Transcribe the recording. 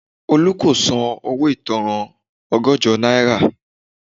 Olu kò san owó ìtanràn ọgọ́jọ náírà